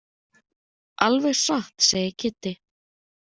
Alveg satt segir Kiddi.